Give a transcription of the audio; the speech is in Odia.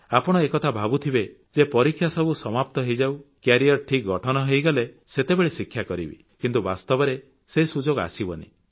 ଆପଣ ଏକଥା ଭାବୁଥିବେ ଯେ ପରୀକ୍ଷା ସମାପ୍ତ ହୋଇଯାଉ କ୍ୟାରିୟର ଠିକ୍ ଗଠନ ହୋଇଗଲେ ସେତେବେଳେ ଶିକ୍ଷା କରିବି କିନ୍ତୁ ବାସ୍ତବରେ ସୁଯୋଗ ଆସିବ ନାହିଁ